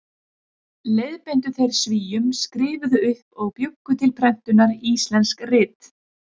Leiðbeindu þeir Svíum, skrifuðu upp og bjuggu til prentunar íslensk rit.